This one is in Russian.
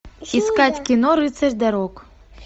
искать кино рыцарь дорог